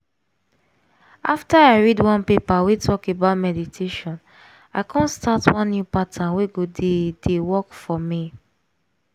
after i read one paper wey talk about meditation i come start one new pattern wey go dey dey work for me.